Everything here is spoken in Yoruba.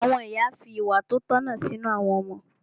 Àwọn ìyá fi ìwà tí ó tọ̀nà sínú àwọn ọmọ.